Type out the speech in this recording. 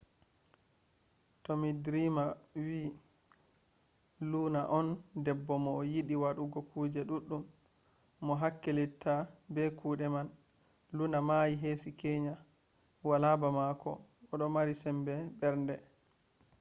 tomi drima wi luna on debbo mo yiɗi waɗugo kuje ɗuɗɗum. mo hakkilitta be kuɗe am. luna mayi hesi keya. wala ba mako o ɗo mari sembe mbernde.